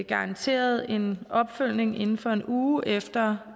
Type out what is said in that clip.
garanteret en opfølgning inden for en uge efter